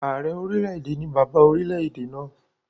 Ààrẹ orílẹ̀-èdè ni bàbá orilẹ̀-èdè náà